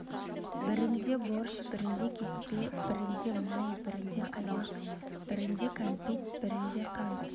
бірінде борщ бірінде кеспе бірінде май бірінде қаймақ бірінде кәмпит бірінде қант